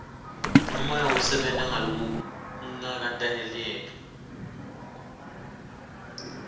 ngemoya wekusebenta ngalokungaketayeleki